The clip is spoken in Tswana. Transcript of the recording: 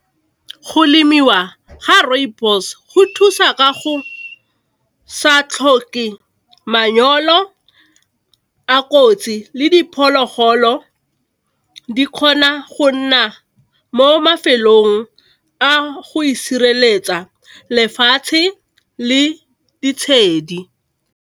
Go lemiwa ga rooibos go thusa ka go sa tlhoke manyolo a kotsi le diphologolo di kgona go nna mo mafelong a go itshireletsa lefatshe le ditshedi.